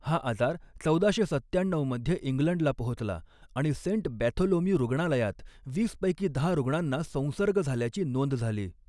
हा आजार चौदाशे सत्त्याण्णऊ मध्ये इंग्लंडला पोहोचला आणि सेंट बॅथोलोम्यू रुग्णालयात वीस पैकी दहा रुग्णांना संसर्ग झाल्याची नोंद झाली.